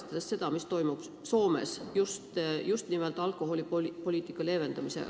Peame ju arvestama ka seda, kuidas Soome oma alkoholipoliitikat leevendab.